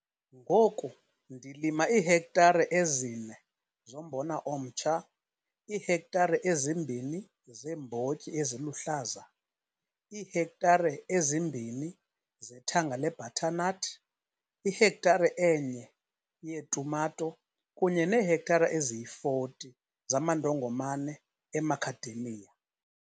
Ngoku ndilima iihektare ezi-4 zombona omtsha, iihektare ezi-2 zeembotyi eziluhlaza, iihektare ezi-2 zethanga lebhathanathi, ihektare e-1 yeetumato kunye neehektare eziyi-40 zamandongomane eMacadamia.